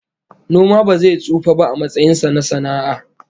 Noma ba zai tsufa ba a matsayin sa na sana'a